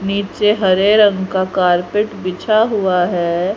नीचे हरे रंग का कारपेट बिछा हुआ है।